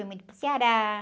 Fui muito para o Ceará.